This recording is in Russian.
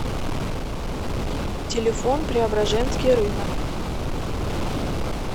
телефон преображенский рынок